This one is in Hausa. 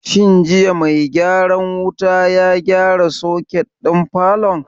Shin jiya mai gyaran wuta ya gyara soket ɗin falon?